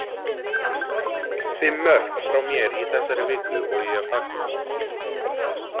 Fimm mörk frá mér í þessari viku og ég fagna því.